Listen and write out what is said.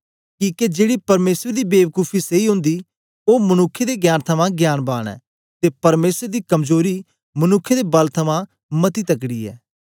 किके जेड़ा परमेसर दी बेबकूफी सेई ओंदी ओ मनुक्खें दे ज्ञान थमां ज्ञानवान ऐ ते परमेसर दी कमजोरी मनुक्खें दे बल थमां मती तकड़ी ऐ